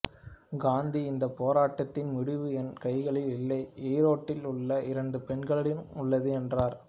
காந்தி இந்தப் போராட்டத்தின் முடிவு என் கைகளில் இல்லை ஈரோட்டில் உள்ள இரண்டு பெண்களிடம் உள்ளது என்றார்